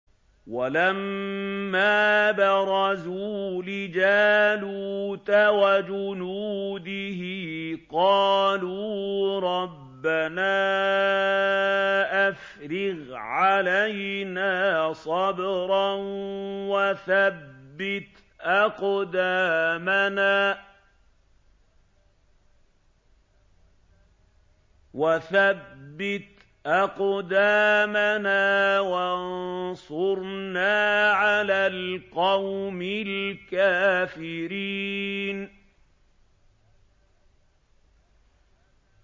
وَلَمَّا بَرَزُوا لِجَالُوتَ وَجُنُودِهِ قَالُوا رَبَّنَا أَفْرِغْ عَلَيْنَا صَبْرًا وَثَبِّتْ أَقْدَامَنَا وَانصُرْنَا عَلَى الْقَوْمِ الْكَافِرِينَ